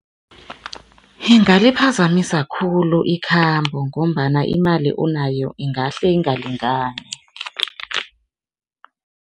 Ingaliphazamisa khulu ikhambo ngombana imali onayo ingahle ingalingani.